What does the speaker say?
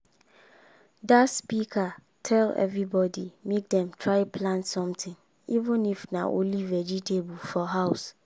that speaker tell everybody make dem try plant something even if na only vegetable for house.